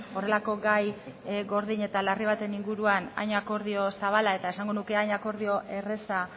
horrelako gai gordin eta larri baten inguruan hain akordio zabala eta esango nuke hain akordio erraza